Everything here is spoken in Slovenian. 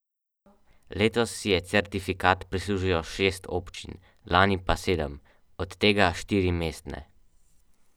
Vselej sem dajal maksimum.